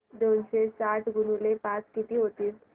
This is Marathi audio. दोनशे साठ गुणिले पाच किती होतात